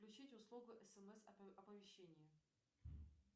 включить услугу смс оповещение